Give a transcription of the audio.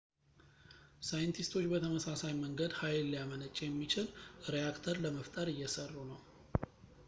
ሳይንቲስቶች በተመሳሳይ መንገድ ኃይል ሊያመነጭ የሚችል ሬአክተር ለመፍጠር እየሰሩ ነው